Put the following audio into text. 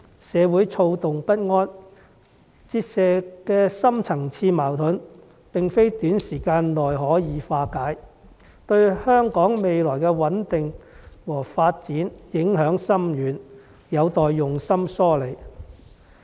社會躁動不安，折射的深層次矛盾，並非短時間內可以化解，對香港未來的穩定和發展影響深遠，有待用心梳理。